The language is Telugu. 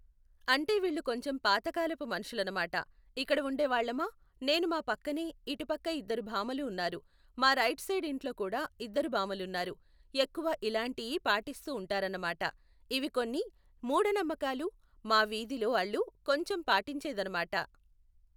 అంటే వీళ్ళు కొంచెం పాతకాలపు మనుషులన్నమాట. ఇక్కడ ఉండే వాళ్ళమా నేను మా పక్కనే ఇటు పక్క ఇద్దరు భామలు ఉన్నారు. మా రైట్ సైడ్ ఇంట్లో కూడా ఇద్దరు భామలు ఉన్నారు. ఎక్కువ ఇలాంటియి పాటిస్తూ ఉంటారన్నమాట, ఇవి కొన్ని మూఢనమ్మకాలు మా వీధిలో వాళ్ళు కొంచెం పాటించేదనమాట.